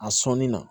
A sɔnni na